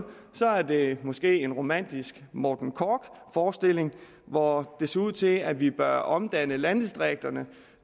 det måske er en romantisk morten korch forestilling hvor det ser ud til at vi bør omdanne landdistrikterne